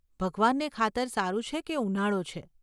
ભગવાનને ખાતર સારું છે કે ઉનાળો છે!